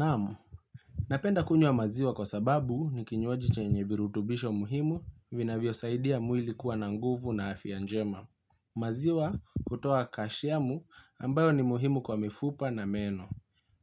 Naam, napenda kunywa maziwa kwa sababu ni kinywaji chenye virutubisho muhimu vinavyo saidia mwili kuwa na nguvu na afya njema. Maziwa hutoa kashiamu ambayo ni muhimu kwa mifupa na meno.